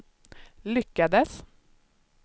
lyckades